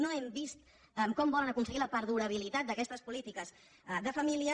no hem vist com volen aconseguir la perdurabilitat d’aquestes polí·tiques de família